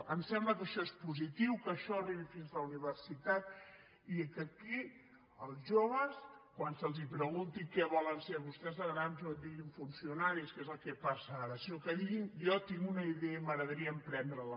ens sembla que això és positiu que això arribi fins a la universitat i que aquí els joves quan se’ls pregunti què volen ser vostès de grans no et diguin funcionaris que és el que passa ara sinó que diguin jo tinc una idea i m’agradaria emprendre la